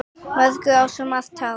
Mögnuð á svo margan hátt.